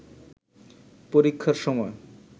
পরীক্ষার সময়